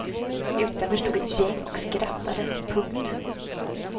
Utanför stod ett gäng och skrattade. punkt